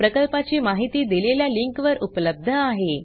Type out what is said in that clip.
प्रकल्पाची माहिती दिलेल्या लिंकवर उपलब्ध आहे